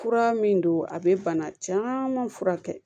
Fura min don a bɛ bana caman furakɛ